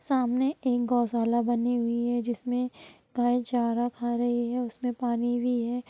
सामने एक गौशाला बनी हुई है जिसमें गाय चारा खा रही है| उसमें पानी भी है।